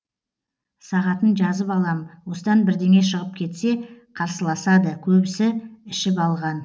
сағатын жазып алам осыдан бірдеңе шығып кетсе қарсыласады көбісі ішіп алған